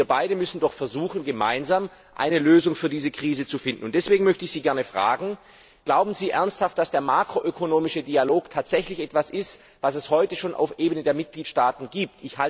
Aber ich denke, wir beide müssen doch versuchen, gemeinsam eine Lösung für diese Krise zu finden. Deswegen frage ich Sie Glauben Sie ernsthaft, dass der makroökonomische Dialog tatsächlich etwas ist, das es heute schon auf der Ebene der Mitgliedstaaten gibt?